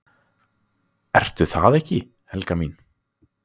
"""Ertu það ekki, Helga mín?"""